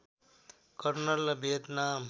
colonel र Vietnam